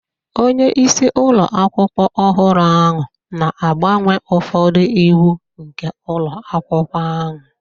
Onye isi ụlọ akwụkwọ ọhụrụ ahụ na-agbanwe ụfọdụ iwu nke ụlọ akwụkwọ ahụ